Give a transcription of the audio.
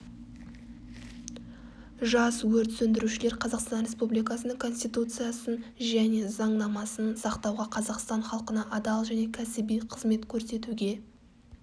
жас өрт сөндірушілер қазақстан республикасының конституциясын және заңнамасын сақтауға қазақстан халқына адал және кәсіби қызмет көрсетуге